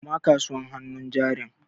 Koma kasuwar hannun jarin.